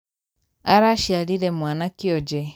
Araciarire mwana kionje.